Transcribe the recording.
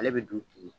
Ale bɛ dun ten